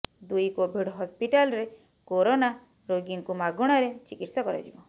ଦୁଇ କୋଭିଡ୍ ହସ୍ପାଟାଲରେ କରୋନା ରୋଗୀଙ୍କୁ ମାଗଣାରେ ଚିକିତ୍ସା କରାଯିବ